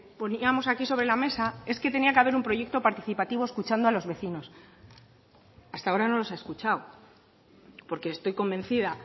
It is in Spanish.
poníamos aquí sobre la mesa es que tenía que haber un proyecto participativo escuchando a los vecinos hasta ahora no los ha escuchado porque estoy convencida